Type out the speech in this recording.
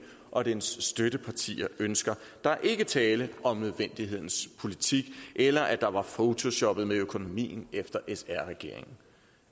og dens støttepartier ønsker der er ikke tale om nødvendighedens politik eller at der var photoshoppet med økonomien efter sr regeringen